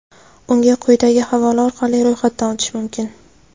Unga quyidagi havola orqali ro‘yxatdan o‘tish mumkin.